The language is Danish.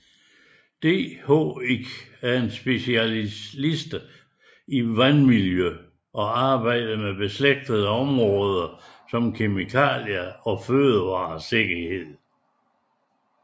DHI er specialister i vandmiljø og arbejder med beslægtede områder såsom kemikalier og fødevaresikkerhed